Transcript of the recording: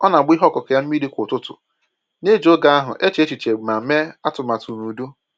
Ọ na agba ihe ọkụkụ ya mmiri kwa ụtụtụ, na-eji oge ahụ eche echiche ma mee atụmatụ n'udo.